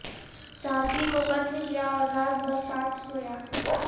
ساتھی کو قتل کیا اور رات بھر ساتھ سویا